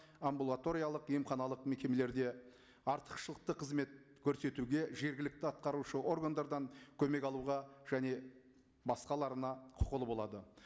амбулаториялық емханалық мекемелерде артықшылықты қызмет көрсетуге жергілікті атқарушы органдардан көмек алуға және басқаларына құқылы болады